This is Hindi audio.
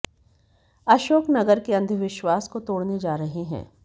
अशोक नगर के अंधविश्वास को तोड़ने जा रहे हैं